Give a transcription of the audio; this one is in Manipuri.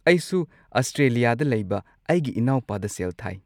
ꯑꯩꯁꯨ ꯑꯁꯇ꯭ꯔꯦꯂꯤꯌꯥꯗ ꯂꯩꯕ ꯑꯩꯒꯤ ꯢꯅꯥꯎꯄꯥꯗ ꯁꯦꯜ ꯊꯥꯏ꯫